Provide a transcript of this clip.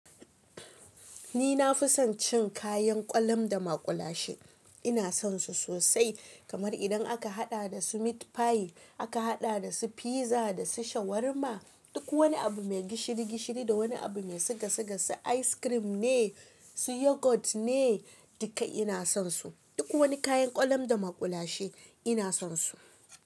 Ni na fi son cin kayan ƙwalum da maƙulashe, ina son su sosai. Kamar idan aka haɗa da su meat pie, aka haɗa da su fiza da su shawarma, duk wani abu mai gishiri gishiri da wani abu mai sigasigasi, ice cream ne, su yogurt ne, duka ina son su. Duk wani kayan ƙwalum da maƙulashe ina son su.